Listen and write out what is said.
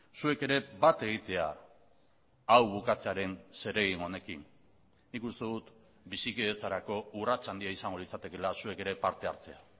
zuek ere bat egitea hau bukatzearen zeregin honekin nik uste dut bizikidetzarako urrats handia izango litzatekeela zuek ere parte hartzea